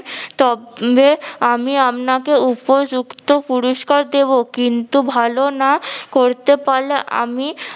তবে আমি আপনাকে উপযুক্ত পুরুস্কার দিব। কিন্তু ভালো না করতে পারলে আমি